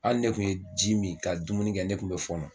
Hali ne kun ye ji min ka dumuni kɛ ne kun mɛ fɔ.